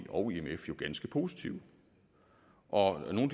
og imf jo ganske positive og nogle